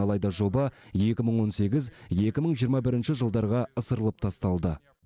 алайда жоба екі мың он сегіз екі мың жиырма бірінші жылдарға ысырылып тасталды